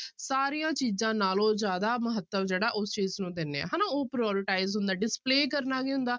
ਸਾਰੀਆਂ ਚੀਜ਼ਾਂ ਨਾਲੋਂ ਜ਼ਿਆਦਾ ਮਹੱਤਵ ਜਿਹੜਾ ਉਸ ਚੀਜ਼ ਨੂੰ ਦਿੰਦੇ ਹਾਂ ਹਨਾ, ਉਹ prioritize ਹੁੰਦਾ display ਕਰਨਾ ਕੀ ਹੁੰਦਾ,